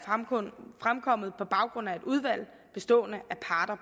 fremkommet på baggrund af et udvalg bestående